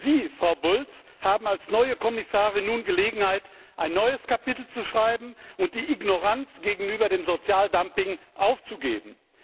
Sie, Frau Bulc, haben als neue Kommissarin nun Gelegenheit, ein neues Kapitel zu schreiben und die Ignoranz gegenüber dem Sozialdumping aufzugeben.